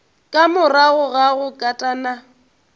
ka morago ga go katana